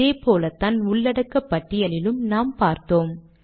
இதேபோலத்தான் உள்ளடக்கப்பட்டியலிலும் நாம் பார்த்தோம்